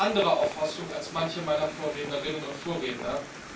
Da habe ich eine andere Auffassung als manche meiner Vorrednerinnen und Vorredner.